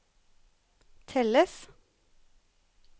telles